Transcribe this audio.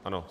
Ano.